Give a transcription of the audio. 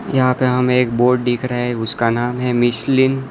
यहां पे हमे एक बोर्ड दिख रहा है उसका नाम है मिश्लिन--